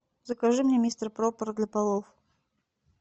закажи мне мистер проппер для полов